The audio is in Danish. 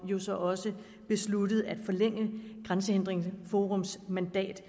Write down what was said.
jo så også besluttet at forlænge grænsehindringsforums mandat